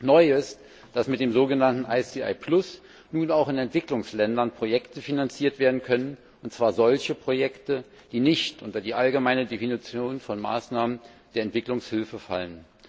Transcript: Neu ist, dass mit dem so genannten ICI Plus nun auch in Entwicklungsländern Projekte finanziert werden können, und zwar solche Projekte, die nicht unter die allgemeine Definition von Maßnahmen der Entwicklungshilfe fallen.